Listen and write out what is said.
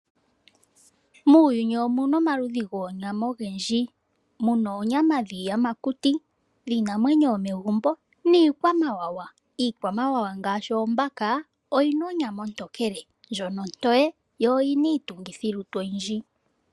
Muuyuni omu na omaludhi goonyama ogendji. Mu na oonyama dhiiyamakuti, dhiinamwenyo yomegumbo niikwamawawa. Iikwamawawa ngashi oombaka, oyi na onyama ontokele ndjoka onoye noyi na iitungithilutu oyindji.